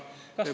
Kasvab, Urmas.